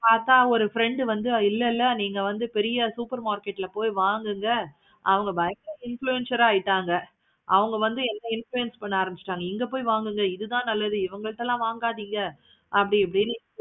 பார்த்த ஒரு friend உம் வந்து இல்ல இல்ல நீங்க வந்து பெரிய super market ல போய் வாங்குங்க. அவங்க பயங்கர influencer ஆஹ் ஆயிட்டாங்க. அவங்க வந்து என்ன influence பண்ண ஆரம்பிச்சாங்க. இங்க போய் வாங்குங்க. இது தான் நல்லது. இவுங்கள்ட்ட தான் வாங்காதீங்க. அப்டினுட்டு